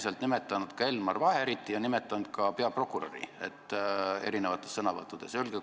Te olete nimetanud Elmar Vaherit ja nimetanud sõnavõttudes ka peaprokuröri.